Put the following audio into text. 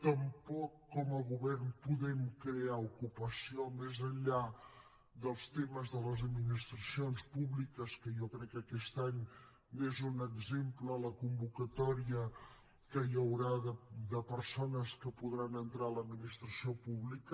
tampoc com a govern podem crear ocupació més enllà dels temes de les administracions públiques que jo crec que aquest any n’és un exemple la convocatòria que hi haurà de persones que podran entrar a l’administració pública